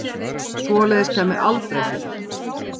Svoleiðis kæmi aldrei fyrir.